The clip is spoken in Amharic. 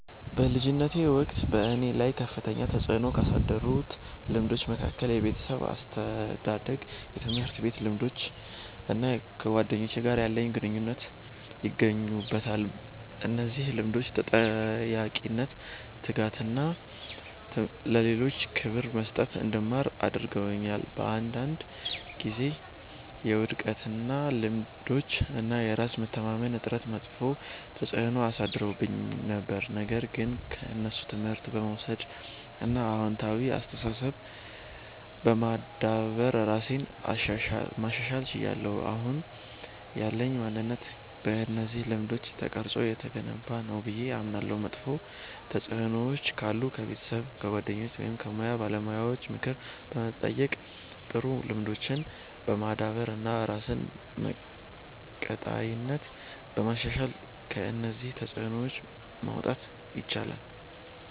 በልጅነቴ ወቅት በእኔ ላይ ከፍተኛ ተጽዕኖ ካሳደሩት ልምዶች መካከል የቤተሰብ አስተዳደግ፣ የትምህርት ቤት ልምዶች እና ከጓደኞቼ ጋር ያለኝ ግንኙነት ይገኙበታል። እነዚህ ልምዶች ተጠያቂነትን፣ ትጋትን እና ለሌሎች ክብር መስጠትን እንድማር አድርገውኛል። በአንዳንድ ጊዜ የውድቀት ልምዶች እና የራስ መተማመን እጥረት መጥፎ ተጽዕኖ አሳድረውብኝ ነበር፣ ነገር ግን ከእነሱ ትምህርት በመውሰድ እና አዎንታዊ አስተሳሰብ በማዳበር ራሴን ማሻሻል ችያለሁ። አሁን ያለኝ ማንነት በእነዚህ ልምዶች ተቀርጾ የተገነባ ነው ብዬ አምናለሁ። መጥፎ ተጽዕኖዎች ካሉ ከቤተሰብ፣ ከጓደኞች ወይም ከሙያ ባለሙያዎች ምክር በመጠየቅ፣ ጥሩ ልምዶችን በማዳበር እና ራስን በቀጣይነት በማሻሻል ከእነዚህ ተጽዕኖዎች መውጣት ይቻላል።